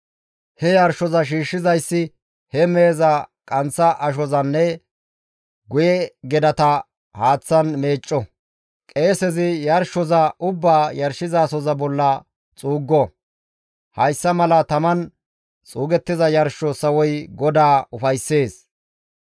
He yarshoza shiishshizayssi he meheza qanththa ashozanne guye gedata haaththan meecco; qeesezi yarshoza ubbaa yarshizasoza bolla xuuggo; hayssa mala taman xuugettiza yarsho sawoy GODAA ufayssees.